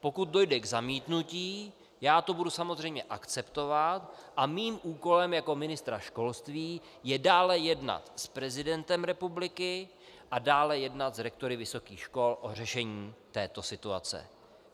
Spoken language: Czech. Pokud dojde k zamítnutí, já to budu samozřejmě akceptovat a mým úkolem jako ministra školství je dále jednat s prezidentem republiky a dále jednat s rektory vysokých škol o řešení této situace.